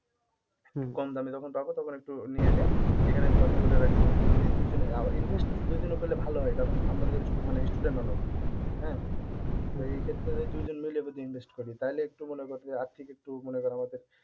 কম দামে যখন থাকবে তখন একটু নিয়ে এসে এখানে আমি কথা বলে রাখবো যদি দুইজনে invest দুইজনে করলে ভালো হয় কারন আমরা মানে student মানুষ হ্যাঁ এই ক্ষেত্রে যদি দুইজন মিলে যদি invest করি তাহলে একটু মনে কর যে আর্থিক একটু মনে কর আমাদের